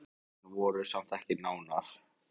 Þeim samdi vel en voru samt ekki nánar.